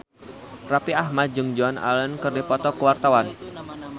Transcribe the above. Raffi Ahmad jeung Joan Allen keur dipoto ku wartawan